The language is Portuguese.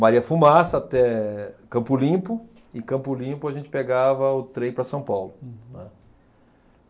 Maria Fumaça até Campo Limpo, e em Campo Limpo a gente pegava o trem para São Paulo. Uhum. Né.